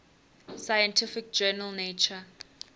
scientific journal nature